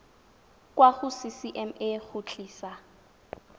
kwa go ccma go tlisa